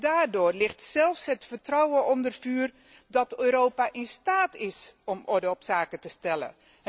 Daardoor ligt zelfs het vertrouwen onder vuur dat Europa in staat is om orde op zaken te stellen.